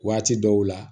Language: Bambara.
Waati dɔw la